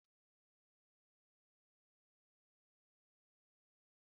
Akụkọ ifo dị n'etiti ndị ọkachamara na afa